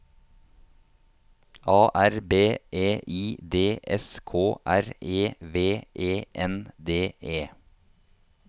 A R B E I D S K R E V E N D E